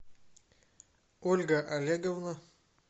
ольга олеговна